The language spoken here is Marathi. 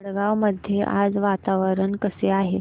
वडगाव मध्ये आज वातावरण कसे आहे